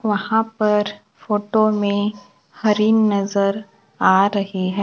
वहां पर फोटो में हरी नजर आ रही है।